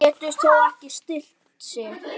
Getur þó ekki stillt sig.